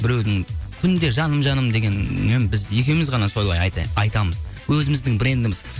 біреудің күнде жаным жаным дегенмен біз екеуіміз ғана солай айтамыз өзіміздің брендіміз